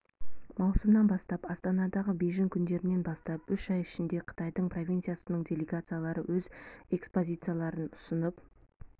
маусымнан бастап астанадағы бейжің күндерінен бастап үш ай ішінде қытайдың провинциясының делегациялары өз экспозицияларын ұсынып